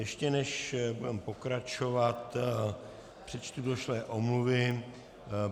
Ještě než budeme pokračovat, přečtu došlé omluvy.